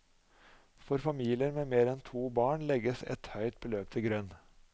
For familier med mer enn to barn legges et høyt beløp til grunn.